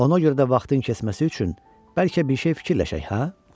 Ona görə də vaxtın keçməsi üçün bəlkə bir şey fikirləşək, hə?